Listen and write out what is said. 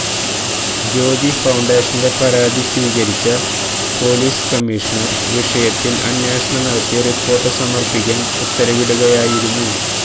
ജ്യോതി ഫൌണ്ടേന്റെ പരാതി സ്വീകരിച്ച പൊലീസ് കമ്മീഷണര് വിഷയത്തില് അന്വേഷണം നടത്തി റിപ്പോര്ട്ട് സമര്പ്പിക്കാന് ഉത്തരവിടുകയായിരുന്നു